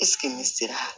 ne sera